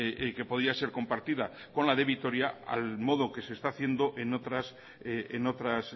que podía ser compartida con la de vitoria al modo que se está haciendo en otras